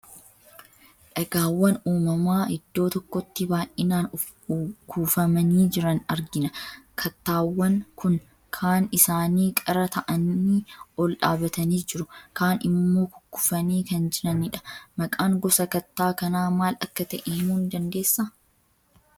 Dhagaawwan uumamaa iddoo tokkotti baay'inaan kuufamanii jiran argina. Kattaawwan kun kaan isaanii qara ta'anii ol dhaabbatanii jiru. Kaan immoo kukkufanii kan jirani dha. Maqaan gosa kattaa kanaa maal akka ta'e himuu ni dandeessaa?